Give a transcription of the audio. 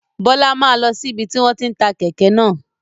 Bọlá máa lọ sí ibi tí wọn tí ń ta kèké náà